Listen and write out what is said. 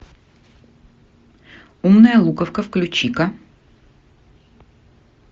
умная луковка включи ка